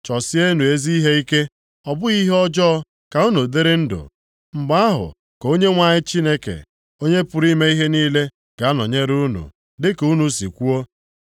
Chọsienụ ezi ihe ike, ọ bụghị ihe ọjọọ; ka unu dịrị ndụ. Mgbe ahụ ka Onyenwe anyị Chineke, Onye pụrụ ime ihe niile ga-anọnyere unu, dịka unu si kwuo.